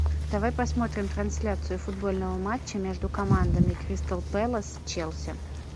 давай посмотрим трансляцию футбольного матча между командами кристал пэлас челси